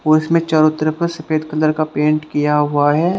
और इसमें चारों तरफ सफेद कलर का पेंट किया हुआ है।